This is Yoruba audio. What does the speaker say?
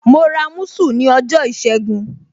Mo ra musu ní ọjọ́ ìṣẹ́gun.